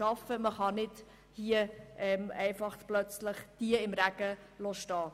Man kann sie nicht einfach plötzlich im Regen stehen lassen.